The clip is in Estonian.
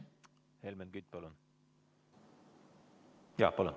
Helmen Kütt, palun!